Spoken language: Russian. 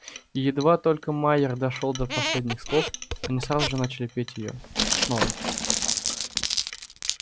и едва только майер дошёл до последних слов они сразу же начали петь её снова